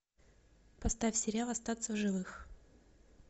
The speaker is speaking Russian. поставь сериал остаться в живых